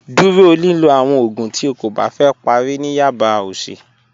Dúró lílọ̀ àwọn oogún tí ó kó bá fẹ́ pàrí ní yaba ọsì.